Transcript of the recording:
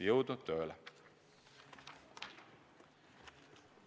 Jõudu tööle!